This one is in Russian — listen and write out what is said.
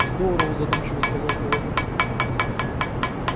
здорово задумчиво сказал проводник